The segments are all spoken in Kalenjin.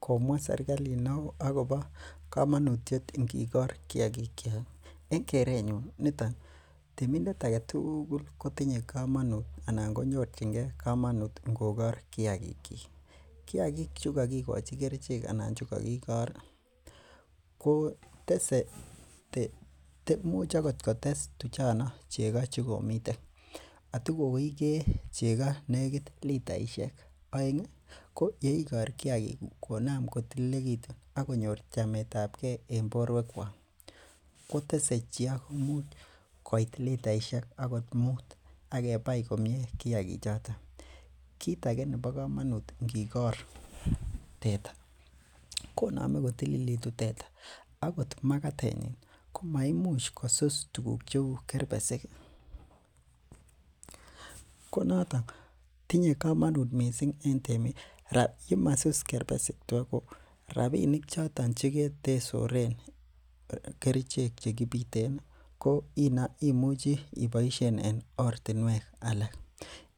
Komwa serkalit neoo akobo komanut ingikor kiagik. En keret nyun temindet agetugul kotinye komanut ingokar kiagik chik. Kiagik chekokikochi kerichek anan chekakikor imuch akot kotes tuchono chekga chekamiten, atikoigee chego nekit litaishek aeng ih ko yeikor kiagik konam kotilikekitun ih akonyor chametabke en boruekuak, ih kotese chego imuch koit agot litaishek muut. Akebai komie kiagik choton. Kit age nebo komanut ingikor teta konamei kotilitu teta ih akot magatet nyin komaimuch kosus kerbesik tuguk cheuu kerbesik. Ko noton tinye komonuut missing en temik yemasus kerbesik ko rabinik choton che ko tesoren kerichek ibiten ko imwuchi iboishen en ortinuek alak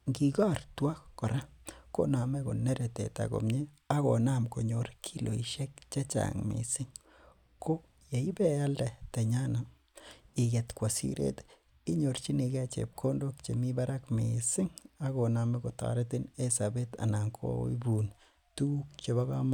ingikor tua alak kora konamei konere teta komie akonam konyor kiloisiek chechang missing koyeiwe ibealde tenyon ih inyorchinike chebkondok chechang missing. Akonamei kotoretin en sobet anan koibun tuguk chebo komanut.